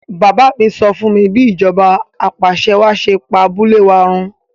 Bàbá mi sọ fúnmi bí ìjọba apàṣẹwàá ṣe pa abúlé wa run